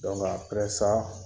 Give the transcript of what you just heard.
Dɔnku apɛrɛ sa